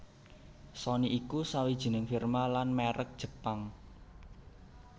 Sony iku sawijining firma lan mèrek Jepang